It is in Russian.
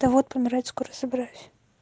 да вот помирать скоро собираюсь